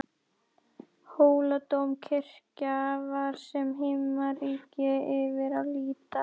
Hóladómkirkja var sem himnaríki yfir að líta.